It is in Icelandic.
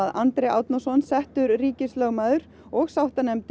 Andri Árnason settur ríkislögmaður og sáttanefnd